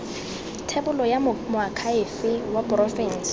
thebolo ya moakhaefe wa porofense